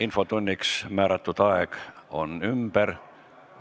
Infotunniks ette nähtud aeg on ümber.